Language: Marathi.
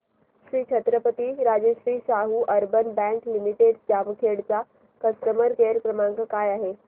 Shri Chhatrapati Rajarshi Shahu urban bank limited Jamkhed चा कस्टमर केअर क्रमांक काय आहे